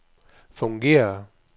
fungerer